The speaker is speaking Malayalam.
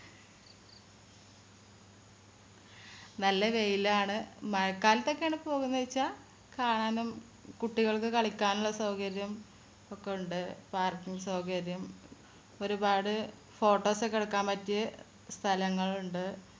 നല്ല വെയിലാണ് മഴക്കാലത്തൊക്കെയാണ് പോകുന്നത് വെച്ച കാണാനും കുട്ടികൾക്ക് കളിക്കാനുള്ള സൗകര്യം ഒക്കെ ഉണ്ട് parking സൗകര്യം ഒരുപാട് photos എടുക്കാൻ പറ്റിയ സ്ഥലങ്ങളുണ്ട്